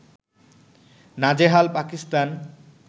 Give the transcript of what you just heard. নাজেহাল পাকিস্তান